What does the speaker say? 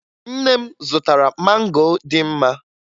Nne m zụtara mango dị mma